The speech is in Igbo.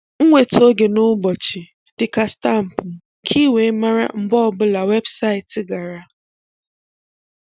Nwetà ogè na ụ̀bọchị̀ dị ka stampụ̀ ka ì weè marà mgbè ọ̀ bụ̀là weebsaịtị̀ gara